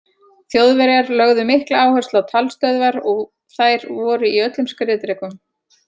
Þjóðverjar lögðu mikla áherslu á talstöðvar og þær voru í öllum skriðdrekum.